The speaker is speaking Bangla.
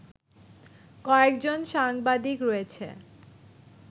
কয়েকজন সাংবাদিক রয়েছে